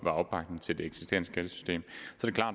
er opbakning til det eksisterende skattesystem